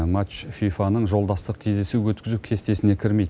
матч фифаның жолдастық кездесу өткізу кестесіне кірмейді